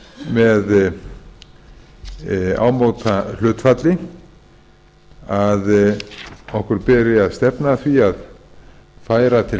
með ámóta hlutfalli að okkur beri að stefna að því að færa til